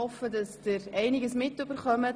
Ich hoffe, dass Sie etwas mitbekommen.